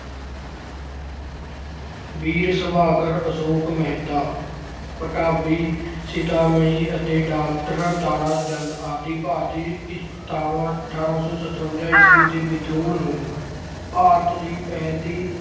ਵੀਰ ਸੁਭਾਕਰ ਅਸ਼ੋਕ ਮਹਿਤਾ, ਪਤਾਬੀ, ਸੀਤਾਮਈ ਅਤੇ doctor ਤਾਰਾ ਚੰਦ ਆਦਿ ਭਾਰਤੀ ਇਤਿਹਾਸਕਾਰਾਂ ਨੇ ਅਠਾਰਾਂ ਸੌ ਸਤਵੰਜਾ ਈਸਵੀ ਦੇ ਵਿਦਰੋਹ ਨੂੰ ਭਾਰਤ ਦੀ ਪਹਿਲੀ